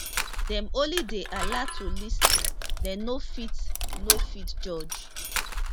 dem only dey allowed to lis ten dem no fit no fit judge